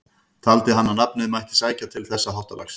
Taldi hann að nafnið mætti sækja til þessa háttalags.